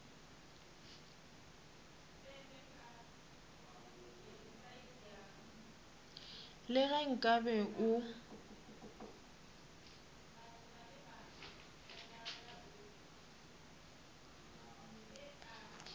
le ge nka be o